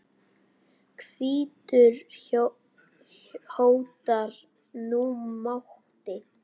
hvítur hótar nú máti.